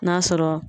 N'a sɔrɔ